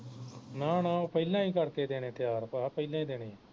ਨਾ ਨਾ ਪਹਿਲਾਂ ਹੀ ਕਰਕੇ ਦੇਣੇ ਤਿਆਰ ਭਾ ਪਹਿਲਾਂ ਹੀ ਦੇਣੇ